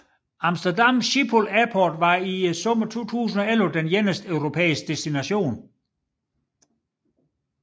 Amsterdam Schiphol Airport var i sommeren 2011 eneste europæiske destination